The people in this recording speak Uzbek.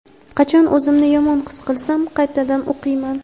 Qachon o‘zimni yomon his qilsam qaytadan o‘qiyman.